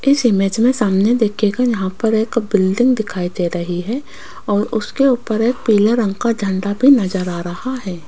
इस इमेज में सामने देखिएगा यहां पर एक बिल्डिंग दिखाई दे रही है और उसके ऊपर एक पीले रंग का झंडा भी नजर आ रहा है।